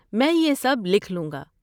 میں یہ سب لکھ لوں گا۔